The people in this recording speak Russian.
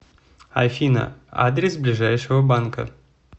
афина адрес ближайшего банка